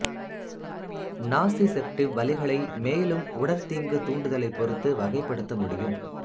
nociceptive வலிகளை மேலும் உடற்தீங்கு தூண்டுதலைப் பொறுத்து வகைப்படுத்த முடியும்